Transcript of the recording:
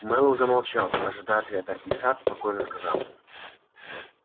мэллоу замолчал ожидая ответа и сатт спокойно сказал